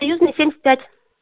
союзная семьдесят пять